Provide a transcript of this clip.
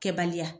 Kɛbaliya